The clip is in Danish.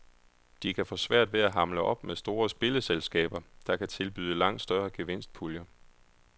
De kan få svært ved at hamle op med store spilleselskaber, der kan tilbyde langt større gevinstpuljer.